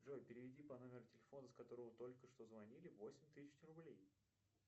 джой переведи по номеру телефона с которого только что звонили восемь тысяч рублей